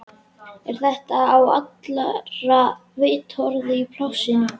Er þetta á allra vitorði í plássinu, eða hvað?